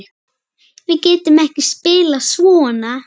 Við getum ekki spilað svona.